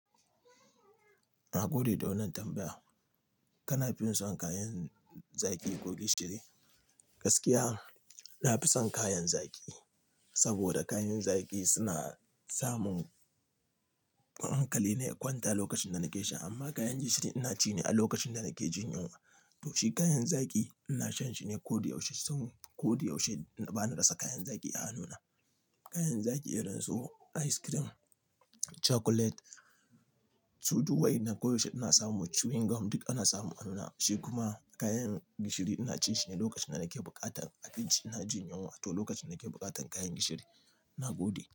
Na gode da wannan tambaya. Kana son kayan zaki ko gishiri? Gaskiya, na fi son kayan zaki saboda kayan zaki suna samun hankalina ya kwanta lokacin da nake sha amma kayan gishiri ina ci ne a lokacin da nake jin yunwa. To shi kayan zaki ina shan shi ne ko yaushe saboda koyaushe ba na rasa kayan zaki a hannuna. Kayan zaki irin su ice cream, chocolate, su duk waɗannan ko da yaushe ana samu, chewing gum duk ana samu a hannuna. Shi kuma kayan gishiri ina cin shi ne lokacin da nake buƙatar abinci ina jin yunwa wato lokacin da nake buƙatar kayan gishiri. Na gode.